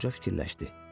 Qoca fikirləşdi.